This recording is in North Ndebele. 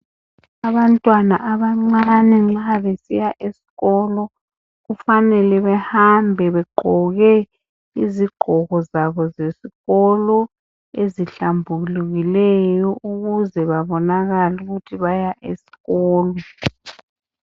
Abantwana abancane nxa besiya esikolo kufanele behambe bogqoke izigqoko zabo zesikolo ezihlambulukileyo ukuze babonakale ukuthi baya esikolo.